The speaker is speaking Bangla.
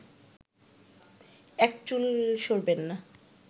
এক চুল সরবেননা